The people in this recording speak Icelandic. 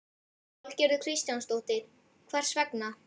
Valgerður Kristjánsdóttir: Hvers vegna?